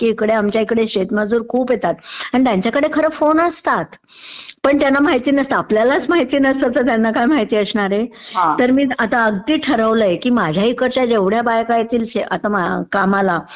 की इकडे आलं की आमच्या इकडे शेत मजूर खूप येतात, आणि त्याच्याकडे फोन असतात, पण त्यंना माहित नसतं, आपल्यालाच माहित नसतं तर त्यांना काय माहीत असणारे, तर मी आता अगदी ठरवलयं की माझ्याही इकडच्या जेवढ्या बायका येतील आता कामाला,